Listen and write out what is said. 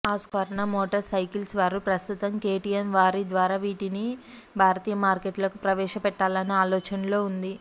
Husqvarna motors cycles వారు ప్రస్తుతం KTM వారి ద్వారా వీటిని భారతీయ మార్కెట్లోకి ప్రవేశపెట్టలానే ఆలోచనలో ఉంది